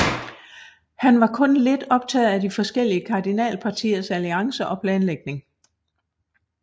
Han var kun lidt optaget af de forskellige kardinalpartiers alliancer og planlægning